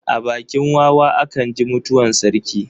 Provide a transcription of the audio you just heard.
A bakin wawa a kan ji mutuwar sarki.